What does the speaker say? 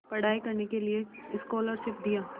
पढ़ाई करने के लिए स्कॉलरशिप दिया